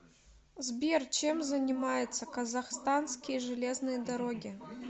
сбер чем занимается казахстанские железные дороги